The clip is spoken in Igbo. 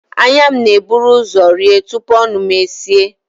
Anya m na-eburu ụzọ rie tupu ọnụ m eeis